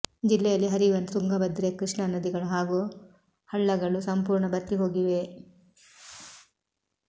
ಜಿಲ್ಲೆಯಲ್ಲಿ ಹರಿಯುವ ತುಂಗಭದ್ರೆ ಕೃಷ್ಣ ನದಿಗಳು ಹಾಗೂ ಹಳ್ಳಗಳು ಸಂಪೂರ್ಣ ಭತ್ತಿಹೋಗಿವೆ